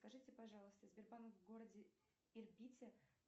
скажите пожалуйста сбербанк в городе ирбите